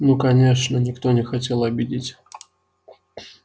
ну конечно никто не хотел обидеть